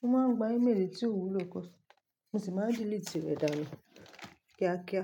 wọ́n máa ń gba email èyí tí ò wùló, mo sì máa delete rẹ̀ dánù kíákíá.